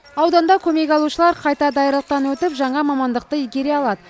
ауданда көмек алушылар қайта даярлықтан өтіп жаңа мамандықты игере алады